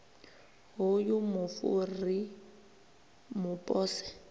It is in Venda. hoyu mufu ri mu pose